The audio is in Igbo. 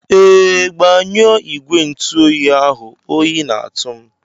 Ee, gbanyụọ igwe ntụ oyi ahụ oyi na-atụ m.